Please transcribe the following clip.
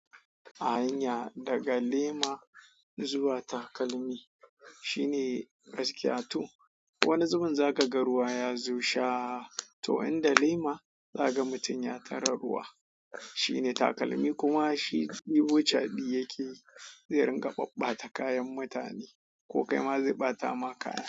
A hanya daga lema zuwa takalmi shine gaskiya to. Wani zubin za ka ga ruwa ya zo sha to inda lema za ka ga mutum ya tare ruwa. Shi ne takalmi kuma shi ibo chaɓi yake zai ringa ɓaɓɓata kayan mutane ko kai ma zai ɓata ma kaya.